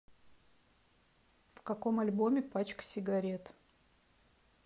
в каком альбоме пачка сигарет